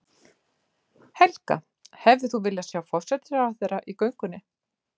Helga: Hefðir þú viljað sjá forsætisráðherra í göngunni?